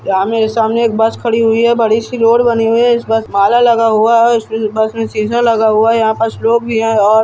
यहाँ मेरे सामने एक बस खड़ी हुई है | बड़ी सी रोड बनी हुई है| इस बस माला लगा हुआ है और बस में सीसां लगा हुआ है | यहाँ पास लोग भी है और--